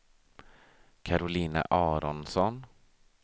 Karolina Aronsson